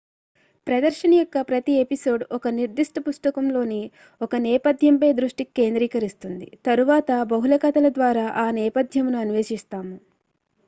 ప్రదర్శన యొక్క ప్రతి ఎపిసోడ్ ఒక నిర్దిష్ట పుస్తకంలోని ఒక నేపథ్యంపై దృష్టి కేంద్రీకరిస్తుంది తరువాత బహుళ కథల ద్వారా ఆ నేపథ్యమును అన్వేషిస్తాము